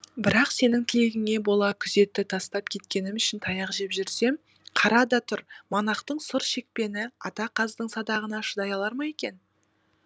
бірақ сенің тілегіңе бола күзетті тастап кеткенім үшін таяқ жеп жүрсем қара да тұр монахтың сұр шекпені ата қаздың садағына шыдай алар ма екен